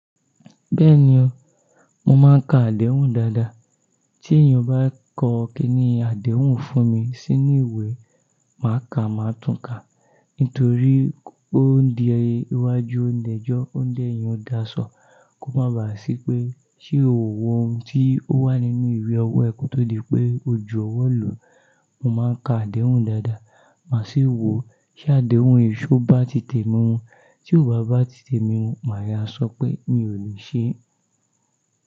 Bẹ́ẹ̀ni o, mo máa ń ka àdéhùn dáadáa. Tí èèyàn bá kọ kiní àdéhùn fún mi sínú ìwé, màá ka, màá tún ka. Nítorí ó n di iwájú ò ǹ dẹ́jọ́, ò ǹ dèyin o dasọ, kó má ba à sí pé ṣé ò wọ ohun tí ó wà nínú ìwé ọwọ́ ẹ ko tó di pé o jú ọwọ́ lu. Mo máa ń ka àdéhùn dáadáa. Màá sì wò ó, ṣé àdéhùn yii, ṣó bá ti tèmi mu. Tí ò bá bá ti tèmi mu, màá yá sọ pé mi ò lè ṣe é.